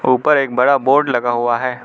ऊपर एक बड़ा बोर्ड लगा हुआ है।